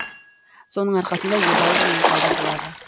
соның арқасында едәуір үнем пайда болады